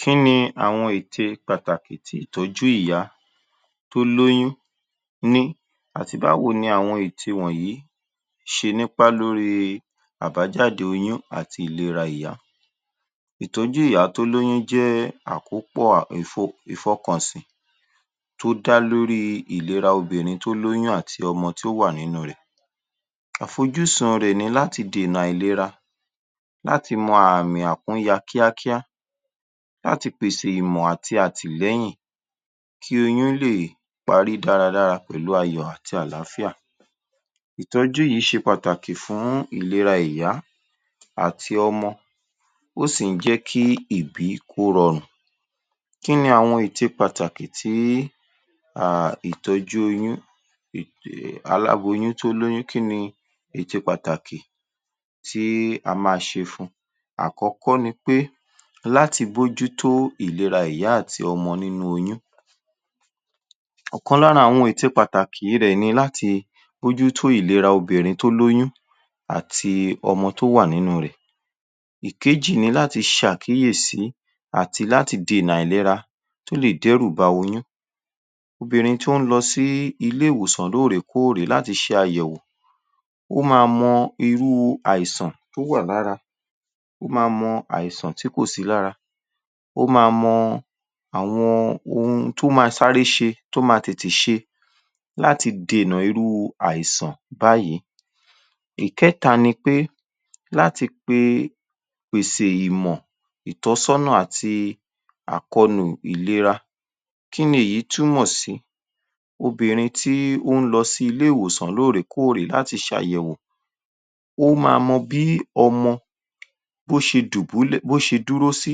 Kí ni àwọn ète pàtàkì tí ìtọjú ìyá tó lóyún ní àti báwo ní àwọn ète wọ̀nyí ṣe nípá lórí àbájáde oyún àti ìlera ìyá. Ìtọjú ìyá tó lóyún ni akọ́pọ̀ Ìfọkànsí tó dá lórí ìlera obìnrin tó lóyún àti ọmọ tó wà nínú rẹ̀. Afọjúsùn ti ní láti dènà àìlera, láti mọ àmì akúnya kíákíá, láti pèsè ìmọ̀ àti àtìlẹ́yìn kí oyún lè parí dáradára pẹlú ayọ̀ àti àlàáfíà. Ìtọjú yí ṣe pàtàkì fún ìlera ìyá àti ọmọ, ọ sì ń jẹ́kí ibí kó rọrùn. Kíni àwọn ète pàtàkì tíi um ìtọjú oyún Aláboyún tó lóyún, kíni ète pàtàkì tíi a ma ṣe fún wọn. Àkọkọ nípé láti mójú tó ìlera ìyá àti ọmọ nínú oyún. Ọ̀kan lára àwọn ète pàtàkì ní dẹ̀ni láti mójú tó ìlera obìnrin tó lóyún àti ọmọ tó wà nínú rẹ̀. Ìkéjì ní láti ṣe àkíyèsí àti láti dènà àìlera tó lè dérù ba oyún. Obìnrin to ń lọsí ilé ìwòsan lóòrèkóòrè láti ṣe àyẹ̀wò, ọ má mọ irú àìsàn tó wà lára, ó ma mọ àìsàn tí kò sí lára. Ó ma mọ ohun tó ma sáré ṣe, tó ma tètè ṣe láti dènà àìsàn bayii. Ìkẹta ní ípẹ́, láti pe pèsè ìmọ̀ ìtọ̀sọ́nà àti àkọ̀nù ìlera. Kíni ìyí túmọ sí, obìnrin tó ń lọ ilé ìwòsàn lóòrèkóòrè láti ṣe àyẹ̀wò. Ó má mọ bí ọmọ bó ṣe dùbùlẹ́ ṣe duro sí.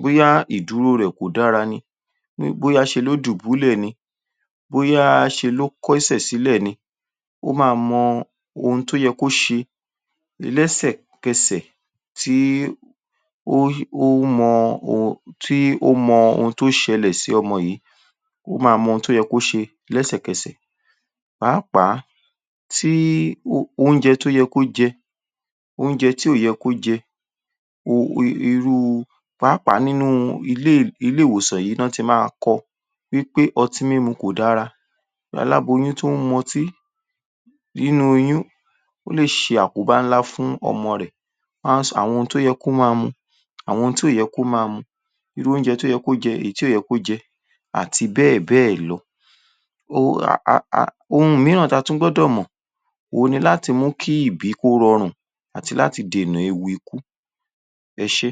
Bóyá ìdúró rẹ̀ kò dára, bóyá ṣe ló dùbùlẹ ni, bóyá ṣe ló kó ẹ̀sẹ̀ sílẹ ní. Ó má mọ ohun tó yẹ kó ṣe lẹ́sẹ̀kẹ̀sẹ̀ tíí ó mọ ohun tó ṣẹlẹ̀ sí ọmọ yí ló, ó ma mọ ohun tó ṣẹlẹ̀ sí ọmọ yí. Ó má mọ ohun tó yẹ kí ó ṣe lẹ̀sẹ̀kẹ́sẹ̀. Pàápàá sí oúnjẹ tó yẹ kó jẹ, oúnjẹ tí o yẹ kí ó jẹ Nínú, pàápàá nínú ilé ilé ìwòsàn yí wọn ti ma kọ wípé ọtí mímu kò dára. Aláboyún tó ń mu ọtí nínu oyún o lè ṣe àkóbá nlá fún ọmọ rẹ̀. Wọ́n á Àwọn ǹnkan tí ò mu, àwọn tí ò yẹ kí ó má mu, irú oúnjẹ tó yẹ kó jẹ, àti àwọn tí ò yẹ kí ó jẹ àti bẹ́ẹ̀bẹ́ẹ̀ lọ. Um ohun míràn tí a a tún gbọdọ̀ mọ̀, ohun ni lati mú ìbí kó rọrùn àti láti dènà ewu ekú. Ẹṣé